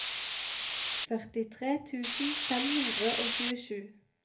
førtitre tusen fem hundre og tjuesju